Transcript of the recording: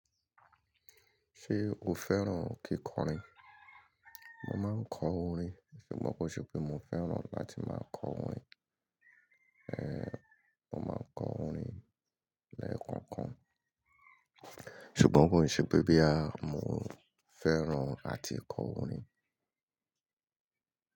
Ṣé o fẹ́ràn kíkọrin? Mo máa ń kọ orin, ṣùgbọ́n kò ṣe pé mo fẹ́ràn láti máa kọ orin. Mo máa ń kọ orin lẹ́ẹ̀kan kan, ṣùgbọ́n kò ṣe pé bí à mo fẹ́ràn àti kọ orin.